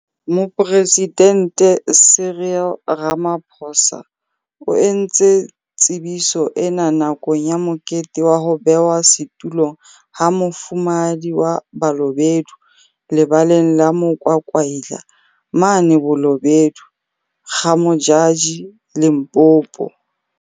Moporesidente Cyril Ramaphosa o entse tsebiso ena nakong ya mokete wa ho bewa setulong ha Mofumahadi wa Balobedu Lebaleng la Mo kwakwaila mane Bolobedu, Ga-Modjadji, Limpopo.